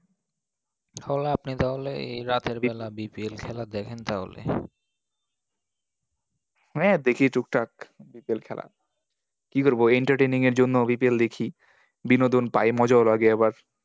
ও আপনি তাহলে এই রাতের বেলা BPL খেলা দেখেন তাহলে? হ্যাঁ দেখি টুকটাক BPL খেলা। কি করবো, entertaining এর জন্য BPL দেখি। বিনোদন পাই, মজাও লাগে আবার।